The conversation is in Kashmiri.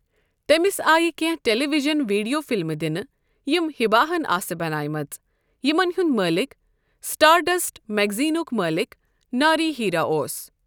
تٔمِس آیہِ کینٛہہ ٹیلی ویژن ویڈیو فلمہٕ دِنہٕ یِم حبا ہَن آسہٕ بنٲومٕژ یِمَن ہُنٛد مٲلِک سٹارڈسٹ میگزینُک مٲلِک ناری ہیرا اوس۔